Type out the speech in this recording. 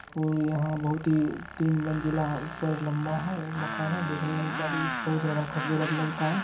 और यहाँ बोहोत ही तीन मंज़िला ऊपर लंबा है मकान है। दिखने में ज्यादा ही बोहोत ज्यादा खूबसूरत लगता है।